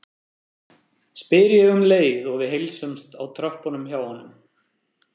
spyr ég um leið og við heilsumst á tröppunum hjá honum.